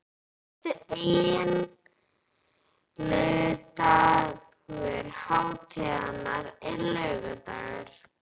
Fyrsti eiginlegi dagur hátíðarinnar er laugardagur.